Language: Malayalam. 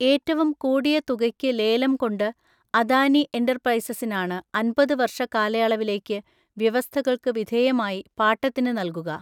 ഏറ്റവും കൂടിയ തുകയ്ക്ക് ലേലം കൊണ്ട് അദാനി എന്റർപ്രൈസസ്സിനാണ് അൻപത് വർഷ കാലയളവിലേയ്ക്ക് വ്യവസ്ഥകൾക്ക് വിധേയമായി പാട്ടത്തിന് നല്കുക.